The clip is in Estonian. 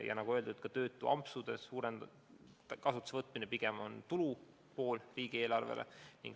Ja nagu öeldud, ka tööampsude kasutusele võtmine on pigem tulu riigieelarvele.